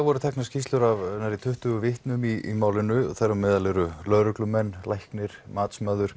voru teknar skýrslur af nærri tuttugu vitnum í málinu þar á meðal eru lögreglumenn læknir matsmaður